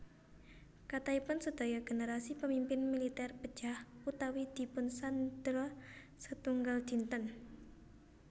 Kathahipun sedaya generasi pemimpin militer pejah utawi dipunsandra setunggal dinten